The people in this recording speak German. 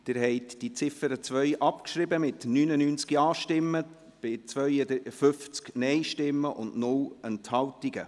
Sie haben die Ziffer 2 abgeschrieben mit 99 Ja- bei 52 Nein-Stimmen und 0 Enthaltungen.